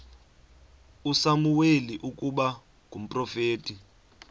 usamuweli ukuba ngumprofeti